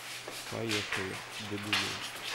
поехали домино